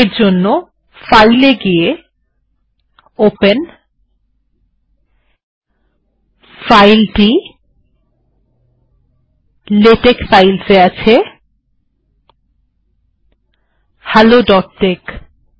এরজন্য ফাইল এ গিয়ে ওপেন এটি লেটেক ফাইলস এ আছে helloটেক্স